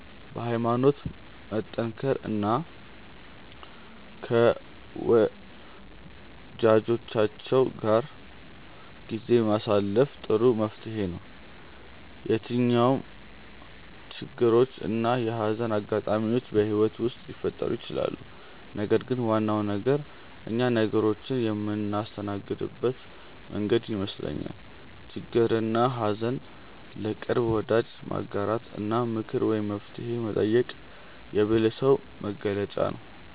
በሀይማኖት መጠንከር እና ከወጃጆቻችን ጋር ጊዜ ማሳለፍ ጥሩ መፍትሔ ነው። የትኛውም ችግሮች እና የሀዘን አጋጣሚዎች በህይወት ውስጥ ሊፈጠሩ ይችላሉ ነገር ግን ዋናው ነገር እኛ ነገሮችን የምናስተናግድበት መንገድ ይመስለኛል። ችግርንና ሀዘን ለቅርብ ወዳጅ ማጋራት እና ምክር ወይም መፍትሔ መጠየቅ የብልህ ሰው መገለጫ ነው።